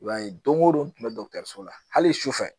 I b'a ye don o don n tun bɛ la hali sufɛ